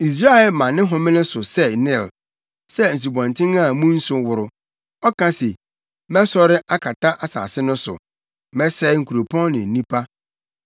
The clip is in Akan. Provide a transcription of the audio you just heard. Misraim ma ne homene so sɛ Nil, sɛ nsubɔnten a mu nsu woro. Ɔka se, ‘Mɛsɔre akata asase no so; mɛsɛe nkuropɔn ne mu nnipa.’